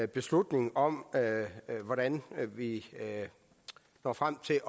beslutning om hvordan vi når frem til